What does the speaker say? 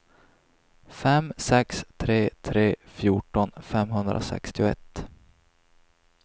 fem sex tre tre fjorton femhundrasextioett